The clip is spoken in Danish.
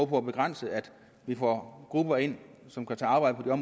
på at begrænse at vi får grupper ind som kan tage arbejde på